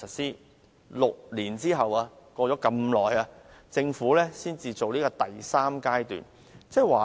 在6年後，過了那麼長時間，政府才實施第三階段。